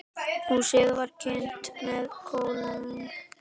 Húsið var kynt með kolum.